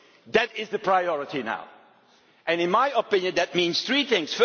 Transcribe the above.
That is the priority now and, in my opinion, that means three things.